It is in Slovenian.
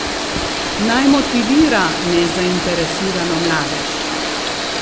Naj motivira nezainteresirano mladež!